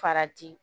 Farati